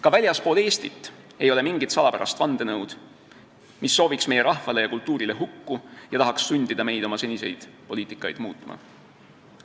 Ka väljaspool Eestit ei ole mingit salapärast vandenõu, mis sooviks meie rahvale ja kultuurile hukku ning tahaks sundida meid oma senist poliitikat muutma.